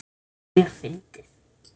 Það var mjög fyndið.